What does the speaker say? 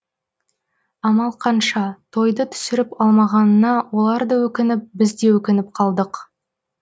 амал қанша тойды түсіріп алмағанына олар да өкініп біз де өкініп қалдық